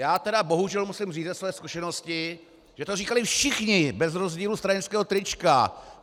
Já tedy bohužel musím říct ze své zkušenosti, že to říkali všichni bez rozdílu stranického trička!